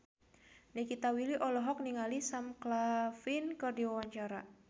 Nikita Willy olohok ningali Sam Claflin keur diwawancara